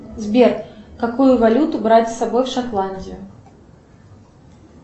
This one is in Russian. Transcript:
сбер какую валюту брать с собой в шотландию